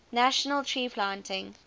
national tree planting